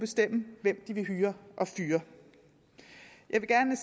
bestemme hvem de vil hyre og fyre jeg vil gerne